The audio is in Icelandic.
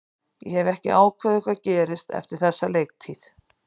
Ég hef ekki ákveðið hvað gerist eftir þessa leiktíð.